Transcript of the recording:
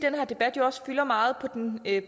at